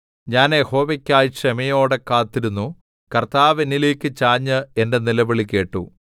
ഞാൻ യഹോവയ്ക്കായി ക്ഷമയോടെ കാത്തിരുന്നു കർത്താവ് എന്നിലേക്ക് ചാഞ്ഞ് എന്റെ നിലവിളി കേട്ടു